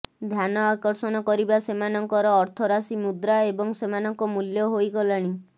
ଧ୍ୟାନ ଆକର୍ଷଣ କରିବା ସେମାନଙ୍କର ଅର୍ଥରାଶି ମୁଦ୍ରା ଏବଂ ସେମାନଙ୍କ ମୂଲ୍ୟ ହୋଇଗଲାଣି